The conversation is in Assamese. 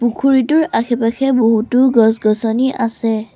পুখুৰীটোৰ আশে-পাশে বহুতো গছ-গছনি আছে।